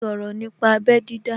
Sọ̀rọ̀ nípa abẹ́ dídá